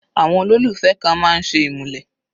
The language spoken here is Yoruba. Àwọn olólùfẹ́ kan máa ń ṣe ìmúlẹ̀.